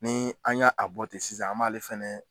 Ni an ya a bɔ ten sisan an b'a ale fɛnɛ